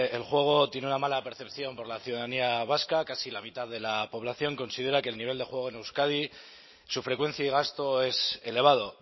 el juego tiene una mala percepción por la ciudadanía vasca casi la mitad de la población considera que el nivel de juego en euskadi su frecuencia y gasto es elevado